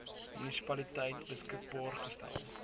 munisipaliteit beskikbaar gestel